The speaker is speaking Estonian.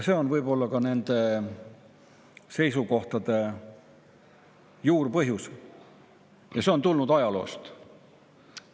See on võib-olla ka nende seisukohtade juurpõhjus ja see on tulnud ajaloost.